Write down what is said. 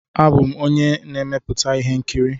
Abụ m onye na-emepụta ihe nkiri.